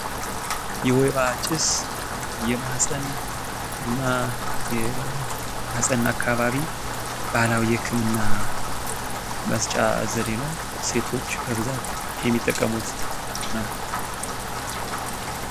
የወይባ ጭስ የማህጸን እና የማህጸን አካባቢ ባህላዊ የህክምና መስጫ ዘዴ ሲሆን፤ ሴቶች ብዙ ጊዜ የሚጠቀሙት ነው።